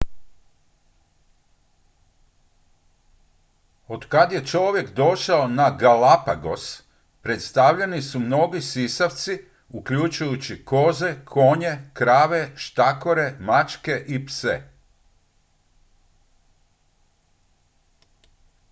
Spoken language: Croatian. otkad je čovjek došao na galapagos predstavljeni su mnogi sisavci uključujući koze konje krave štakore mačke i pse